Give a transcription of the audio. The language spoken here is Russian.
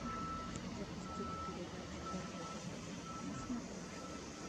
запустить передачу ржд тв на смотрешке